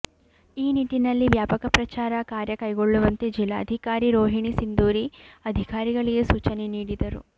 ಈ ನಿಟ್ಟಿನಲ್ಲಿ ವ್ಯಾಪಕ ಪ್ರಚಾರ ಕಾರ್ಯ ಕೈಗೊಳ್ಳುವಂತೆ ಜಿಲ್ಲಾಧಿಕಾರಿ ರೋಹಿಣಿ ಸಿಂಧೂರಿ ಅಧಿಕಾರಿಗಳಿಗೆ ಸೂಚನೆ ನೀಡಿದರು